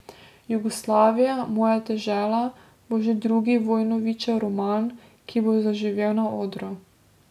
Jugoslavija, moja dežela, bo že drugi Vojnovićev roman, ki bo zaživel na odru.